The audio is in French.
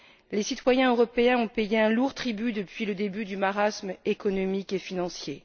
Les citoyens européens ont payé un lourd tribut depuis le début du marasme économique et financier.